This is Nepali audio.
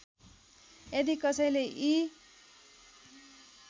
यदि कसैले यी